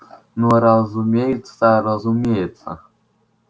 ну разумеется разумеется